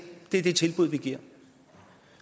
det tilbud vi giver